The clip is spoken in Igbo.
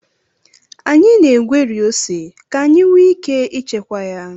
Anyị na-egweri ose ka anyị nwee ike ịchekwa ya